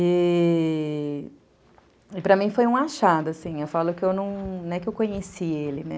E.. para mim foi um achado, assim, eu falo que eu não é que eu conheci ele, né?